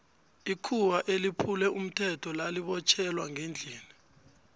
ikhuwa eliphule umthetho lali botjhelwa ngendlini